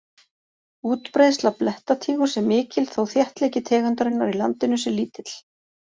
Útbreiðsla blettatígurs er mikil þó þéttleiki tegundarinnar í landinu sé lítill.